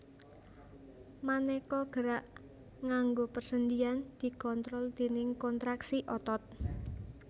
Manéka gerak nganggo persendian dikontrol déning kontraksi otot